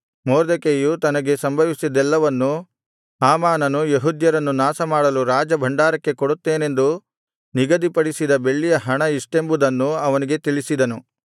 ಮೊರ್ದೆಕೈಯು ತನಗೆ ಸಂಭವಿಸಿದ್ದೆಲ್ಲವನ್ನೂ ಹಾಮಾನನು ಯೆಹೂದ್ಯರನ್ನು ನಾಶಮಾಡಲು ರಾಜಭಂಡಾರಕ್ಕೆ ಕೊಡುತ್ತೇನೆಂದು ನಿಗದಿಪಡಿಸಿದ ಬೆಳ್ಳಿಯ ಹಣ ಇಷ್ಟೆಂಬುದನ್ನೂ ಅವನಿಗೆ ತಿಳಿಸಿದನು